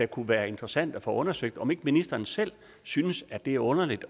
kunne være interessant at få undersøgt om ikke ministeren selv synes at det er underligt